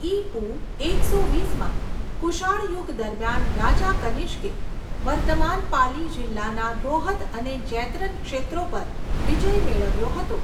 ઈ.પૂ. એકસો વીસમાં કુષાણ યુગ દરમિયાન રાજા કનિષ્કે વર્તમાન પાલી જિલ્લાના રોહત અને જૈતરન ક્ષેત્રો પર વિજય મેળવ્યો હતો.